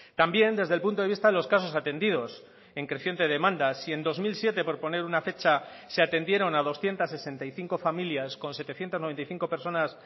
también desde el punto de vista de los casos atendidos en creciente demanda si en dos mil siete por poner una fecha se atendieron a doscientos sesenta y cinco familias con setecientos noventa y cinco personas